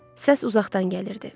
Səs uzaqdan gəlirdi.